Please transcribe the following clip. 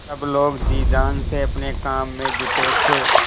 सब लोग जी जान से अपने काम में जुटे थे